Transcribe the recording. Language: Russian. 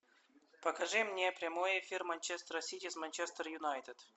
покажи мне прямой эфир манчестера сити с манчестер юнайтед